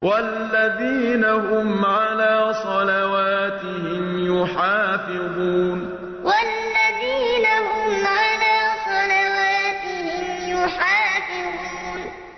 وَالَّذِينَ هُمْ عَلَىٰ صَلَوَاتِهِمْ يُحَافِظُونَ وَالَّذِينَ هُمْ عَلَىٰ صَلَوَاتِهِمْ يُحَافِظُونَ